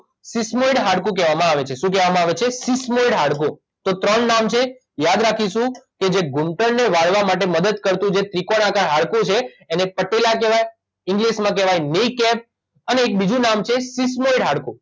થીસ્મેડ હાડકું કહેવામાં આવે છે શું કહેવામાંં આવે છે થીસ્મેડ હાડકું તો ત્રણ નામ છે યાદ રાખીશું કે જે ઘૂંટણને વાળવા માટે મદદ કરતું જે ત્રિકોણાકાર હાડકું છે એને પટેલા કહેવાય ઇંગ્લીશમાં કહેવાય ક્ની કેપ અને એક બીજું નામ છે થીસ્મેડ હાડકું